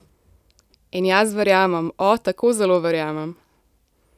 In jaz verjamem, o, tako zelo verjamem!